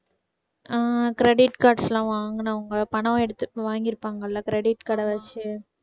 ஹம் credit cards லாம் வாங்கினவங்க பணம் எடுத்து வாங்கியிருப்பாங்க இல்ல credit card அ வெச்சி